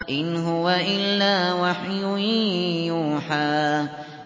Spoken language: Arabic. إِنْ هُوَ إِلَّا وَحْيٌ يُوحَىٰ